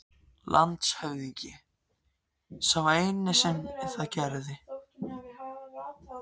LANDSHÖFÐINGI: Sá eini sem það gerði.